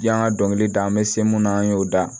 Yan ka dɔnkili da an bɛ se mun na an y'o da